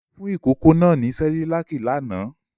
Olú fún ìkókó náà ní Cerelac lánàá.